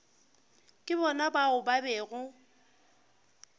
ke bona bao ba bego